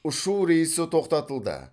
ұшу рейсі тоқтатылды